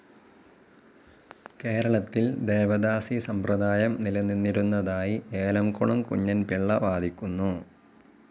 കേരളത്തിൽ ദേവദാസിസമ്പ്രദായം നിലനിന്നിരുന്നതായി ഏലംകുളം കുഞ്ഞൻപിള്ള വാദിക്കുന്നു.